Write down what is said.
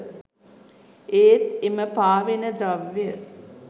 ඒත් එම පාවෙන ද්‍රව්‍ය